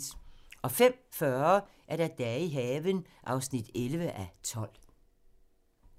05:40: Dage i haven (11:12)